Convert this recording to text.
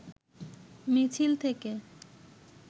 মিছিল থেকে